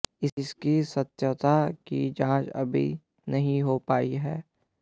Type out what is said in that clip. इसकी सत्यता की जांच अभी नहीं हो पाई है